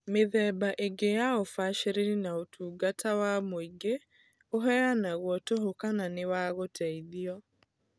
Mĩthemba ĩngĩ ya ũbacĩrĩri na ũtugata wa mũingĩ ũheanagwo tũhũ kana nĩ wa gũteithio.